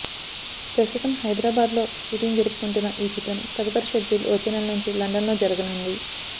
ప్రస్తుతం హైదరాబాద్లో షూటింగ్ జరుపుకుంటున్న ఈ చిత్రం తదుపరి షెడ్యూల్ వచ్చే నెల నుంచి లండన్లో జరగనుంది